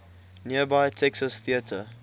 nearby texas theater